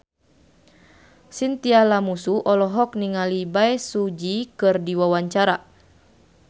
Chintya Lamusu olohok ningali Bae Su Ji keur diwawancara